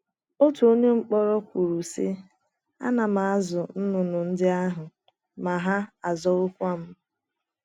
Otu onye mkpọrọ kwuru, sị: “ Ana m azụ nnụnụ ndị ahụ, ma ha azụwokwa m. ”